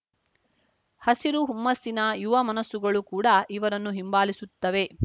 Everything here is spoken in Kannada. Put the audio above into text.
ಹಸಿರು ಹುಮ್ಮಸ್ಸಿನ ಯುವ ಮನಸ್ಸುಗಳು ಕೂಡ ಇವರನ್ನು ಹಿಂಬಾಲಿಸುತ್ತವೆ